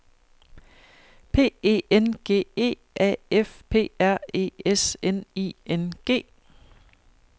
P E N G E A F P R E S N I N G